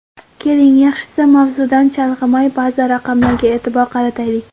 Keling, yaxshisi mavzudan chalg‘imay, ba’zi raqamlarga e’tibor qarataylik.